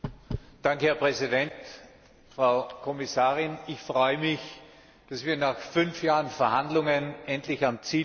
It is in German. Herr Präsident! Frau Kommissarin, ich freue mich, dass wir nach fünf Jahren Verhandlungen endlich am Ziel sind.